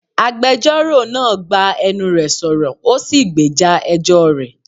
Agbẹjọ́rò náà gbá enú re sọ̀rọ̀, ó sì gbèjà ẹjọ́ rẹ̀.